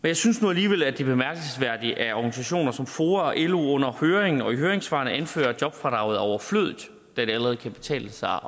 jeg synes nu alligevel at det er bemærkelsesværdigt at organisationer som foa og lo under høringen og i høringssvarene anfører at jobfradraget er overflødigt da det allerede kan betale sig